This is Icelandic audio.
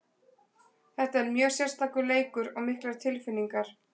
Þetta er mjög sérstakur leikur og miklar tilfinningar.